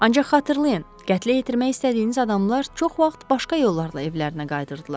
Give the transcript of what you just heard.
Ancaq xatırlayın, qətlə yetirmək istədiyiniz adamlar çox vaxt başqa yollarla evlərinə qayıdırdılar.